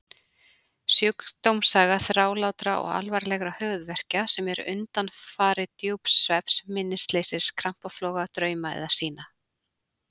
Sjúkdómssaga þrálátra og alvarlegra höfuðverkja sem eru undanfari djúps svefns, minnisleysis, krampafloga, drauma eða sýna.